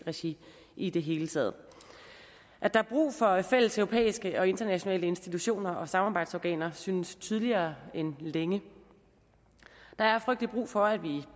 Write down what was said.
regi i det hele taget at der er brug for fælles europæiske og internationale institutioner og samarbejdsorganer synes tydeligere end længe der er frygtelig meget brug for at vi